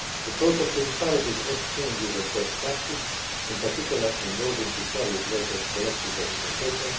The project encourages exchanges of best practice, in particular, involving precarious workers' collective representation.